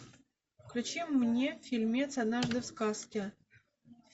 включи мне фильмец однажды в сказке